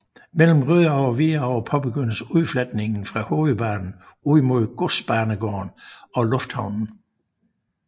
Mellem Rødovre og Hvidovre påbegyndes udfletningen fra hovedbanen ud mod Godsbanegården og Lufthavnen